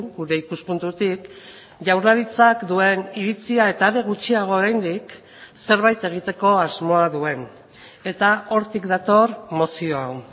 gure ikuspuntutik jaurlaritzak duen iritzia eta are gutxiago oraindik zerbait egiteko asmoa duen eta hortik dator mozio hau